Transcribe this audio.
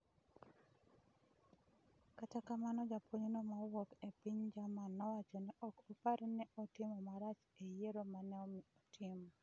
Kata kamano, japuonjno ma wuok e piny Jarman nowacho ni ok opar ni ne otimo marach e yiero ma ne otimo.